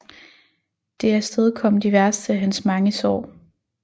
Det afstedkom de værste af hans mange sår